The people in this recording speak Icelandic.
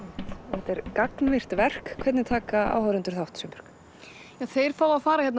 þetta er gagnvirkt verk hvernig taka áhorfendur þátt Sveinbjörg þeir fá að fara hérna